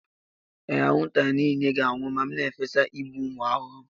Ee, anwụnta niile ga-anwụ ma m na-efesa igbu ụmụ ahụhụ.